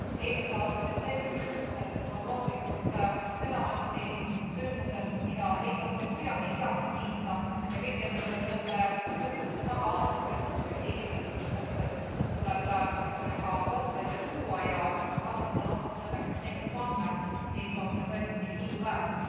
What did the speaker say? Eelmise aasta detsembri sündmused on loomulikult seda masti sündmused, mida ei saa mitte kuidagi heaks kiita, ja kõik, kes nende sündmuste taga on, kes on süüdi inimeste hukkumises, tuleb ka kohtu ette tuua ja kui Kasahstan on selleks samme astunud, siis on see tõesti kiiduväärt.